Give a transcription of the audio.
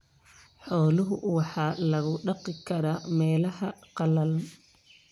Xoolaha waxaa lagu dhaqi karaa meelaha qallalan.